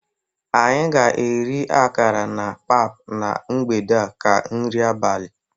Anyị ga-eri akara na pap na mgbede a ka nri abalị.